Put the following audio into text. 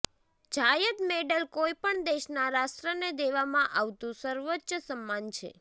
જાયદ medal કોઈપણ દેશના રાષ્ટ્રને દેવામાં આવતું સર્વોચ્ચ સન્માન છે